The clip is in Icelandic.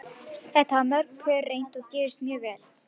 Þetta hafa mörg pör reynt og gefist mjög vel.